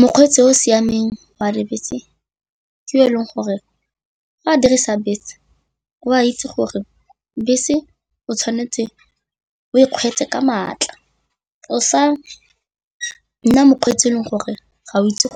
Mokgweetsi o o siameng wa dibese ke e leng gore ga a dirisa bese, o a itse gore bese o tshwanetse o e kgweetse ka maatla, o sa nna mokgweetsi e leng gore ga o itse